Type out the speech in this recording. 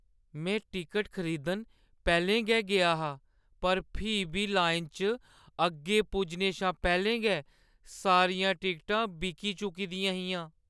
में टिकट खरीदन पैह्‌लें गै गेआ हा, पर फ्ही बी लाइना च अग्गें पुज्जने शा पैह्‌लें गै सारियां टिकटां बिकी चुकी दियां हियां।